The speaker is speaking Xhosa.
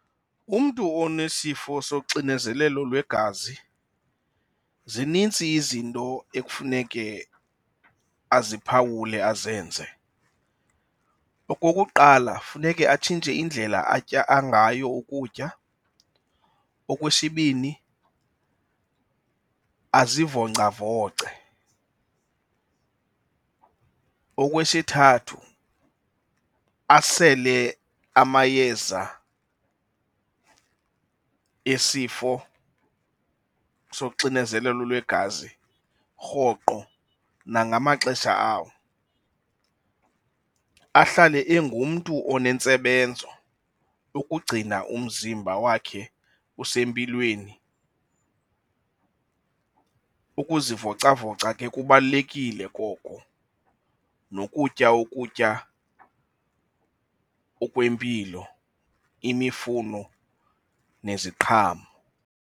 Umntu onesifo soxinezelelo lwegazi zinintsi izinto ekufuneke aziphawule azenze. Okokuqala, funeke atshintshe indlela atya ngayo ukutya. Okwesibini, azivoncavoce. Okwesithathu, asele amayeza esifo soxinezelelo lwegazi rhoqo nangamaxesha awo. Ahlale engumntu onentsebenzo ukugcina umzimba wakhe usempilweni. Ukuzivocavoca ke kubalulekile koko nokutya ukutya okwempilo imifuno neziqhamo.